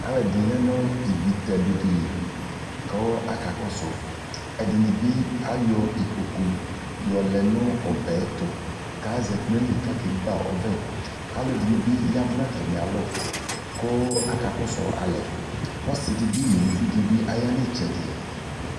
Alu ɛdini yanu ivi tɛdʊlɛ li kʊ akakɔsʊ ɛdini bɩ ayɔ ikpokʊ yɔlɛ nʊ ɔbɛ yɛtʊ kazati nayili kakegba ɔvɛ alu ɛdinibi ƴa nu atamialɔ kʊ akakɔsʊalɛ kɔsɩdɩbi nʊ ʊlʊvidi yanitsɛdi